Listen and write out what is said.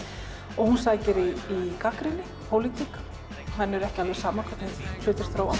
og hún sækir í gagnrýni og pólitík henni er ekki alveg sama hvernig hlutir þróast